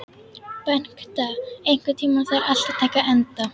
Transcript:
Bengta, einhvern tímann þarf allt að taka enda.